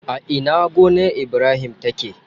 A ina gonar Ibrahim take?